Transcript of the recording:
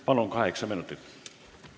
Palun, kaheksa minutit!